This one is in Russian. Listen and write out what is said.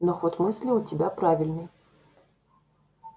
но ход мысли у тебя правильный